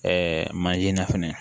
manzin na fɛnɛ